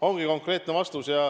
Ongi konkreetne vastus.